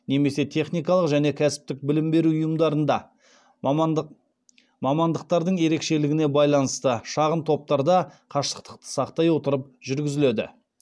немесе техникалық және кәсіптік білім беру ұйымдарында мамандықтардың ерекшелігіне байланысты шағын топтарда қашықтықты сақтай отырып жүргізіледі